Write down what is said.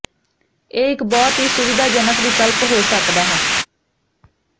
ਇਹ ਇੱਕ ਬਹੁਤ ਹੀ ਸੁਵਿਧਾਜਨਕ ਵਿਕਲਪ ਹੋ ਸਕਦਾ ਹੈ